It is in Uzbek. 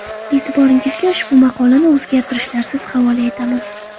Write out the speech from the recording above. E’tiboringizga ushbu maqolani o‘zgarishlarsiz havola etamiz.